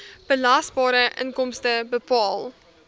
belasbare inkomste bepaal